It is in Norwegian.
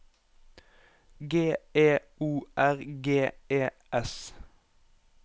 G E O R G E S